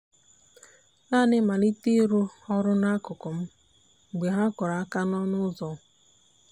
naanị malite ịrụ ọrụ n'akụkụ m mgbe ha kụrụ aka n'ọnụ n'ọnụ ụzọ.